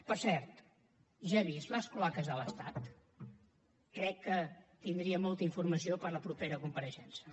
per cert ja ha vist les clavegueres de l’estat crec que tindria molta informació per a la propera compareixença